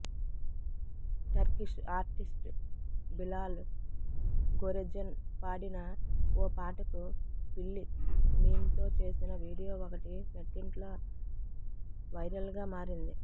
Turkish artist Bilal Goregen పాడిన ఓ పాటకు పిల్లి మీమ్తో చేసిన వీడియో ఒకటి నెట్టింట్లో వైరల్గా మారింది